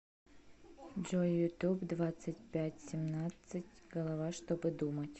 джой ютуб двадцать пять семнадцат ь голова чтобы думать